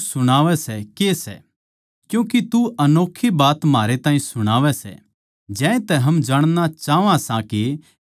क्यूँके तू अनोक्खी बात म्हारै ताहीं सुणावै सै ज्यांतै हम जाणणा चाहवां सां के इनका के मतलब सै